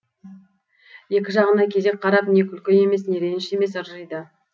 екі жағына кезек қарап не күлкі емес не реніш емес ыржиды